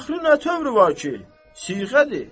Axı nə tövrü var ki, siğədir.